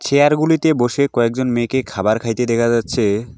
Chair -গুলিতে বসে কয়েকজন মেয়েকে খাবার খাইতে দেখা যাচ্ছে।